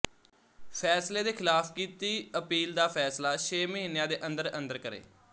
ਫ਼ੈਸਲੇ ਦੇ ਖ਼ਿਲਾਫ਼ ਕੀਤੀ ਅਪੀਲ ਦਾ ਫ਼ੈਸਲਾ ਛੇ ਮਹੀਨਿਆਂ ਦੇ ਅੰਦਰ ਅੰਦਰ ਕਰੇ